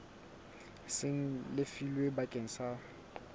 seng le lefilwe bakeng sa